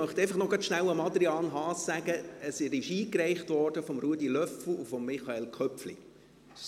– Ich möchte einfach noch schnell an die Adresse von Adrian Haas sagen, dass der Antrag von Ruedi Löffel und Michael Köpfli eingereicht wurde.